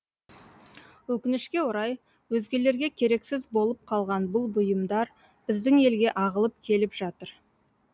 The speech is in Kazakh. өкінішке орай өзгелерге керексіз болып қалған бұл бұйымдар біздің елге ағылып келіп жатыр